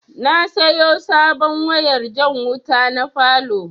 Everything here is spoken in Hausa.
Na sayo sabon wayar jan wuta na falow